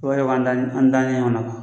O an da ɲɔgɔn na